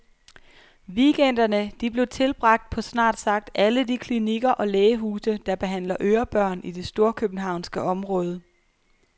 Weekenderne, de blev tilbragt på snart sagt alle de klinikker og lægehuse, der behandler ørebørn i det storkøbenhavnske område.